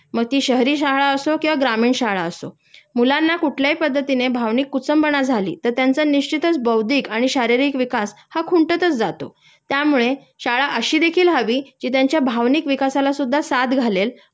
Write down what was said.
मग ती शहरी शाळा असो किंवा ग्रामीण शाळा असो.मुलांना कुठल्याही पद्धतीने भावनिक कुचंबणा झाली तर त्यांचा निश्चितच बौद्धिक आणि शारीरिक विकास हा खुंटतच जातो त्यामुळे शाळा अशी देखील हवी जी त्यांच्या भावनिक विकासालासुद्धा साथ घालेल